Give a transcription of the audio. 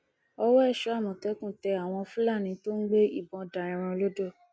ọwọ èso àmọtẹkùn tẹ àwọn fúlàní tó ń gbé ìbọn da ẹran lodò